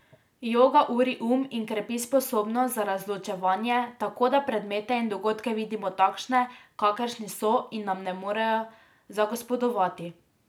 Joga uri um in krepi sposobnost za razločevanje, tako da predmete in dogodke vidimo takšne, kakršni so, in nam ne morejo zagospodovati.